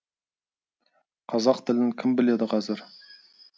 қазақ тілін кім біледі қазір